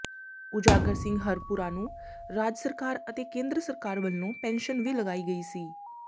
ਉਜਾਗਰ ਸਿੰਘ ਹਰਪੁਰਾ ਨੂੰ ਰਾਜ ਸਰਕਾਰ ਅਤੇ ਕੇਂਦਰ ਸਰਕਾਰ ਵੱਲੋਂ ਪੈਨਸ਼ਨ ਵੀ ਲਗਾਈ ਗਈ ਸੀ